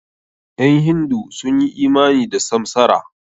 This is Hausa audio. Ƴan hindu sun yi imani da samsara.